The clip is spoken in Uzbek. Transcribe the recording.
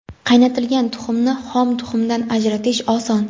Qaynatilgan tuxumni xom tuxumdan ajratish oson.